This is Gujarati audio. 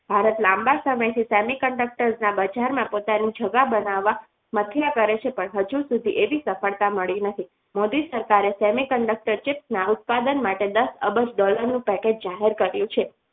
ભારત લાંબા સમયથી semiconductor ના બજારમાં પોતાની જગા બનાવવા મથ્યા કરે છે પણ હજુ સુધી એવી સફળતા મળી નથી મોદી સરકારે semiconductor Jeep ના ઉત્પાદન માટે દસ અબજ dollar નું package જાહેર કર્યું છે.